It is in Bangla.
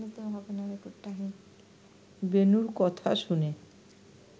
বেণুর কথা শুনে